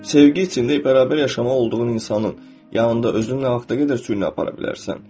Sevgi içində bərabər yaşamalı olduğun insanın yanında özünü nə vaxta qədər süynə apara bilərsən?